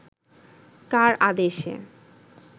কার আদেশে